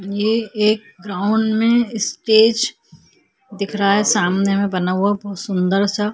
ये एक ग्राउंड में स्टेज दिख रहा हैं सामने में बना हुआ सुन्दर सा--